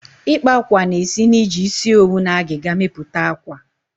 Ikpa akwa na esi na-iji isi owu na agịga mepụta akwa.